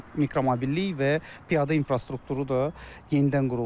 Mikromobillik və piyada infrastrukturu da yenidən quruldu.